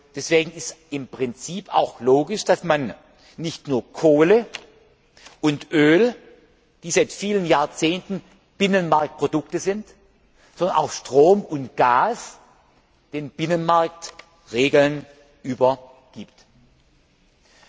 Deswegen ist im Prinzip auch logisch, dass man nicht nur Kohle und Öl, die seit vielen Jahrzehnten Binnenmarktprodukte sind, sondern auch Strom und Gas den Binnenmarktregeln unterstellt.